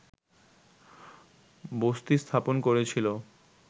বসতি স্থাপন করেছিল